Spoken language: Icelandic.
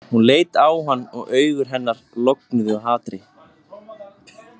Hún leit á hann og augu hennar loguðu af hatri.